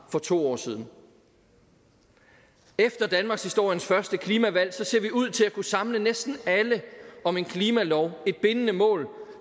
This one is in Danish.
for to år siden efter danmarkshistoriens første klimavalg ser vi ud til at kunne samle næsten alle om en klimalov et bindende mål